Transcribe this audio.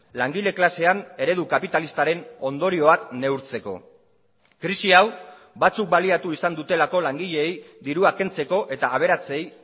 langile klasean eredu kapitalistaren ondorioak neurtzeko krisi hau batzuk baliatu izan dutelako langileei dirua kentzeko eta aberatsei